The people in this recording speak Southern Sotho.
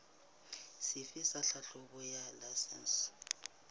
sefe sa tlhahlobo ya laesense